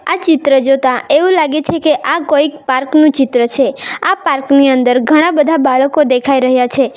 આ ચિત્ર જોતા એવું લાગે છે કે આ કોઈક પાર્ક નું ચિત્ર છે આ પાર્ક ની અંદર ઘણા બધા બાળકો દેખાઈ રહ્યા છે.